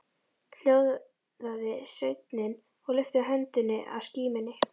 Hljóðaði sveinninn og lyfti höndinni að skímunni.